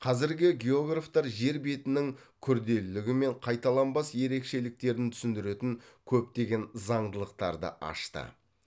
қазіргі географтар жер бетінің күрделілігі мен қайталанбас ерекшеліктерін түсіндіретін көптеген заңдылықтарды ашты